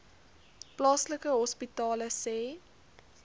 plaaslike hospitale sê